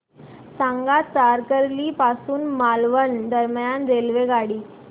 सांगा तारकर्ली पासून मालवण दरम्यान रेल्वेगाडी